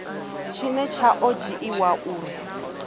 tshine tsha o dzhiiwa uri